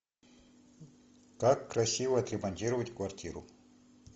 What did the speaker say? как красиво отремонтировать квартиру